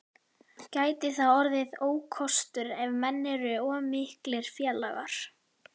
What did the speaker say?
Gæti það orðið ókostur ef menn eru of miklir félagar?